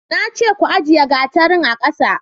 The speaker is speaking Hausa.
na ce ku ajiye gatarin a ƙasa